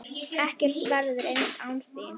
Ekkert verður eins án þín.